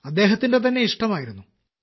അദ്ദേഹത്തിന്റെ തന്നെ ഇഷ്ടമായിരുന്നു